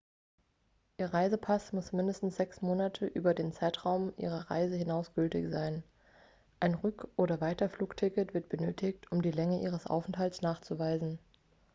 ihr reisepass muss mindestens 6 monate über den zeitraum ihrer reise hinaus gültig sein ein rück oder weiterflugticket wird benötigt um die länge ihres aufenthalts nachzuweisen